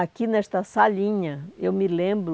Aqui nesta salinha, eu me lembro